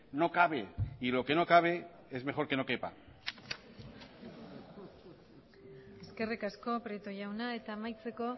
no cabe y lo que no cabe es mejor que no quepa eskerrik asko prieto jauna eta amaitzeko